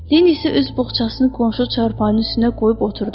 Lenni isə üz boğçasını qonşu çarpayının üstünə qoyub oturdu.